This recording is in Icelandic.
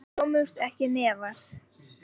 Við komumst ekki neðar.